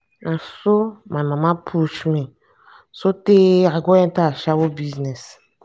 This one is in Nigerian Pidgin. na so my mama push me so tey i go enter ashawo business.